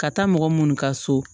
Ka taa mɔgɔ minnu ka so